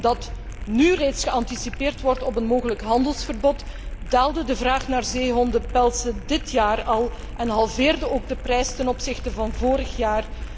Omdat nu reeds geanticipeerd wordt op een mogelijk handelsverbod, daalde de vraag naar zeehondenpelzen dit jaar al en halveerde ook de prijs ten opzichte van vorig jaar.